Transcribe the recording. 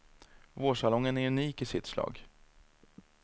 Vårsalongen är unik i sitt slag.